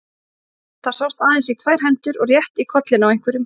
Það sást aðeins í tvær hendur og rétt í kollinn á einhverjum.